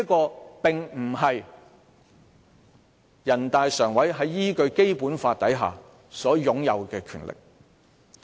這並非人大常委會依據《基本法》所擁有的權力。